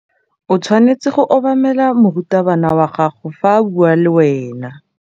O tshwanetse go obamela morutabana wa gago fa a bua le wena.